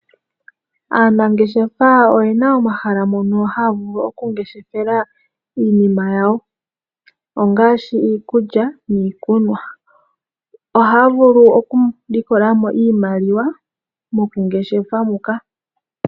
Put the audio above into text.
Aanangeshefaa oye na omahala mono haa vulu oku ngeshefela iinima yawo ongaashi iikulya niikunwa. Ohaa vulu oku likola mo iimaliwa mokungeshefa muka.